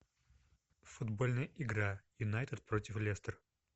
футбольная игра юнайтед против лестер